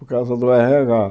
por causa do érre agá.